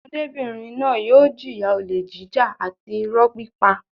Ọmọdébìnrin náà yóò jìyà olè jíjà àti ìrọ́ pípa.